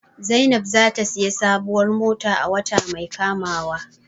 Zainab zata siya sabuwar mota a wata mai kamawa